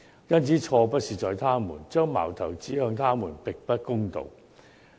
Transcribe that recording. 因此，錯不在他們，將矛頭指向他們並不公道。